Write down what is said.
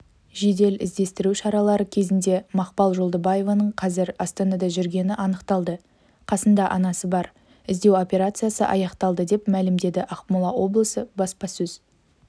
жедел іздестіру шаралары кезінде мақпал жолдыбаеваның қазір астанада жүргені анықталды қасында анасы бар іздеу операциясы аяқталды деп мәлімдеді ақмола облысы баспасөз